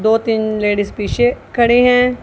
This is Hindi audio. दो तीन लेडीज़ पीछे खड़े हैं।